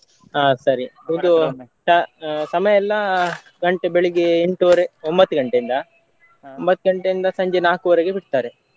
ಹಾ ಸರಿ ಒಂದು ಸಮಯ ಎಲ್ಲಾ ಗಂಟೆ ಬೆಳಿಗ್ಗೆ ಎಂಟುವರೆ ಒಂಬತ್ತ್ ಗಂಟೆಯಿಂದ ಒಂಬತ್ತ್ ಗಂಟೆಯಿಂದ ಸಂಜೆ ನಾಲ್ಕುವರೆಗೆ ಬಿಡ್ತಾರೆ.